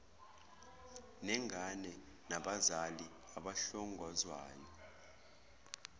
nengane nabazali abahlongozwayo